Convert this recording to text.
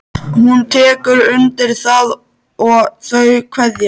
Hún tekur undir það og þau kveðjast.